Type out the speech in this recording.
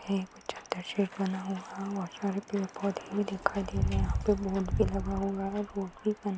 बना हुआ है और बहुत सारे पेड़ पौधे भी दिखाई दे रहे हैं। यहां पर बोर्ड भी लगा हुआ है बोर्ड भी बना--